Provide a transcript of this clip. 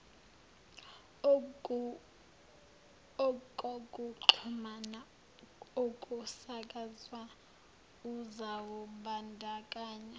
okokuxhumana okusakazwayo uzawubandakanya